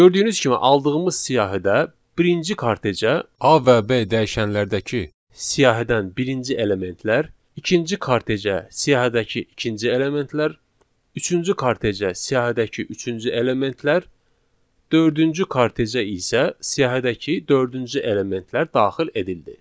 Gördüyünüz kimi aldığımız siyahıda birinci kartecə A və B dəyişənlərdəki siyahıdan birinci elementlər, ikinci kartecə siyahıdakı ikinci elementlər, üçüncü kartecə siyahıdakı üçüncü elementlər, dördüncü kartecə isə siyahıdakı dördüncü elementlər daxil edildi.